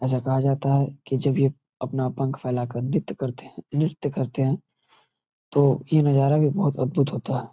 ऐसे कहा जाता हैकि जब ये अपना पंख फैलाकर नृत्य करते हैनृत्य करते हैं तो ये नजारा बहुत अद्भुत होता है|